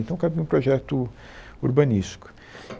Então cabia um projeto urbanístico.